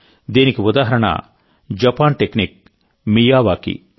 దీనికి ఉదాహరణ Japan technique Miyawaki